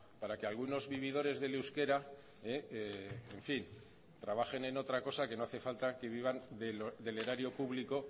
para que algunos vividores del euskera en fin trabajen en otra cosa que no hace falta que vivan del erario público